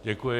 Děkuji.